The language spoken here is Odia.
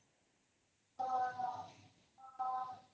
noise